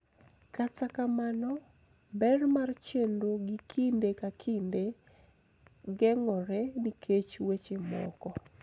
Kata kamano, ber mar chenro gi kinde ka kinde geng�ore nikech weche moko .